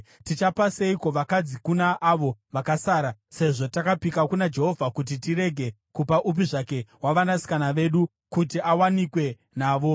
Tichapa seiko vakadzi kuna avo vakasara, sezvo takapika kuna Jehovha kuti tirege kupa upi zvake wavanasikana vedu kuti awanikwe navo.”